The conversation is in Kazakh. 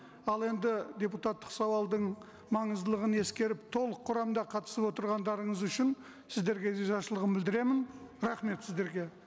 ал енді депутаттық сауалдың маңыздылығын ескеріп толық құрамда қатысып отырғандарыңыз үшін сіздерге ризашылығымды білдіремін рахмет сіздерге